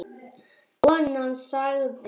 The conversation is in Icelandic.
Konan sagði